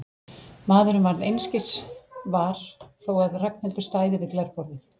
Maðurinn varð einskis var þó að Ragnhildur stæði við glerborðið.